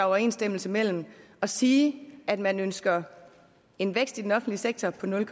overensstemmelse mellem at sige at man ønsker en vækst i den offentlige sektor på nul